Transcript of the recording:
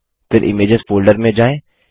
फिर images folder में जाएँ